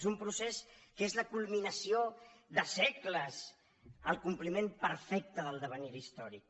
és un procés que és la culminació de segles el compliment perfecte de l’es·devenir històric